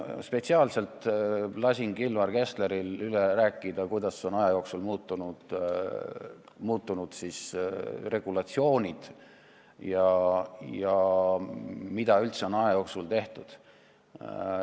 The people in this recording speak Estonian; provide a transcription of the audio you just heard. Ma spetsiaalselt lasin Kilvar Kessleril üle rääkida, kuidas on aja jooksul muutunud regulatsioonid ja mida üldse on aja jooksul tehtud.